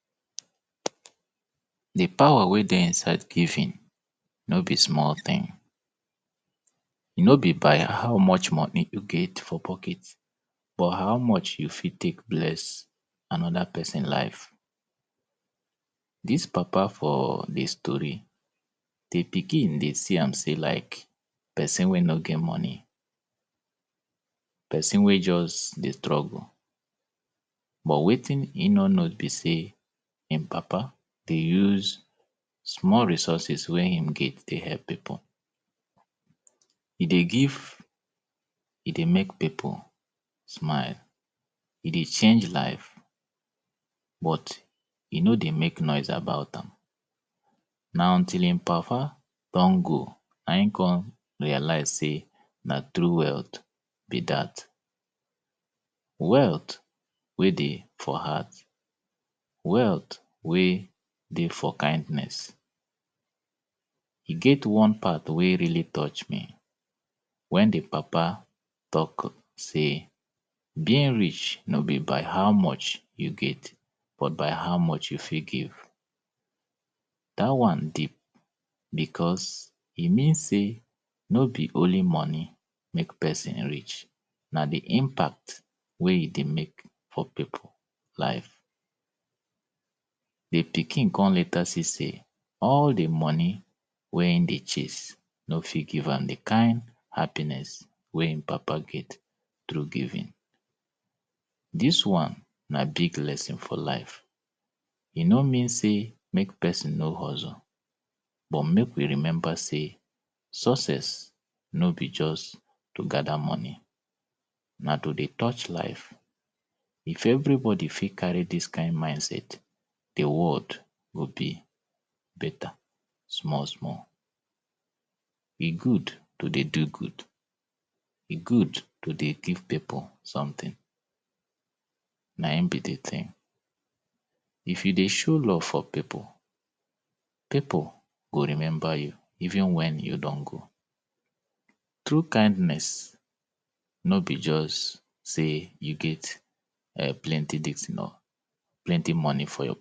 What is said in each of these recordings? To cough de important o. Na part of de way weh be say our body de tek de safe Cough na just one tin weh be say we no fit control especially if something enta our throat weh need to comot. Maybe you drink water and d water enta anoda place u go see say ur body go just say “eii!! Danger don come o e go just send cough U go just de cough to comot what to comot dat tin. And sometimes you go feel say something de your throat you go try de cough to comot am. Dat wan na d tin weh we say our body de help de protect Sudden cough we no fit control an but e get some cough weh we de control. Maybe u just feel say something de your throat u fit try cough to comot am Wetin de always cause dis cough be say if something enta inside our throat maybe something weh no suppose de dey d brain go just send signal say “ahhh something de dis pesin throat o, if you no comot dis tin naw d pesin fit die so de brain go come de do dia own tin way be say e go come de tell all the nerves weh de dey Oya start to de cough If cough wan start, e get wetin de call diaphragm. Diaphragm na wetin de just under our chest. Dat diaphragm go just contract. If e contract ehn, our chest go just expand air to come enta If de air enta, e get wetin de call the glottis weh de for our throat. Dat tin go just close so dat air no go comot. As air don full for our body for that lungs, d tin go just force that thing, e go come open. Come push d air go just force us to cough. That cough sound weh we de hear na we be say d air don comot. e get types of cough oh We get voluntary cough weh say we use our hand de cough. We get involuntary weh be say if something enta, ur brain don send alert immediately sey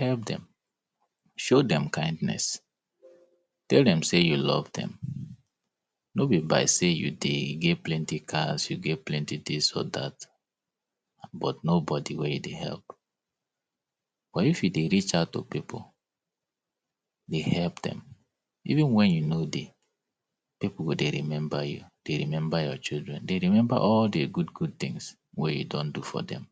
Oya Commot E get wetin de call dry cough, Dat wan be say u go de cough catarrh no come outside, nothing go come outside E get de one weh we call productive cough. For dat productive cough way be say if you cough you go just see catarrh Na dat one. So cough de help us protect our throat, e de help protect our lung so dat if anything de dey e go comot and e de help make sure say our lungs de work fine Coughing, ahh de way we de take cough ehn, e de d tin de very fast oo. De day e de reach like 100km/h be dat cough o. So na for u to know say if pesin cough, just try shift in case d pesin collect any… get any infection Mek u no Carry am.